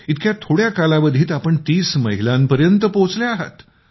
इतक्या थोड्या कालावधी आपण ३० महिलांपर्यंत पोहचल्या आहात